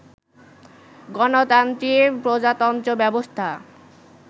গণতন্ত্রী প্রজাতন্ত্র ব্যবস্থা